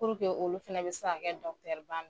olu fana bɛ se ka kɛ .